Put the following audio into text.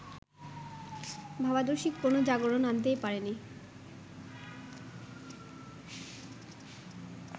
ভাবাদর্শিক কোনো জাগরণ আনতেই পারেনি